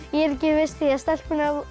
ég er ekki viss því stelpurnar